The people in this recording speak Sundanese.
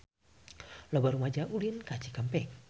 Loba rumaja ulin ka Cikampek